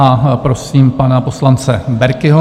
A prosím pana poslance Berkiho.